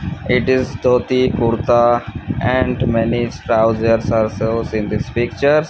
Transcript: it is dothie kurtha and many trousers are shows in this picture.